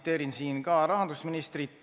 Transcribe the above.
Ma viitan siinkohal ka rahandusministri sõnadele.